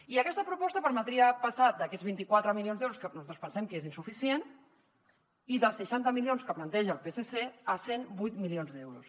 i aquesta proposta permetria passar d’aquests vint quatre milions d’euros que nosaltres pensem que són insuficients i dels seixanta milions que planteja el psc a cent i vuit milions d’euros